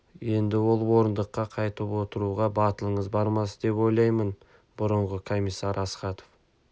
енді ол орындыққа қайтып отыруға батылыңыз бармас деп ойлаймын бұрынғы комиссар астахов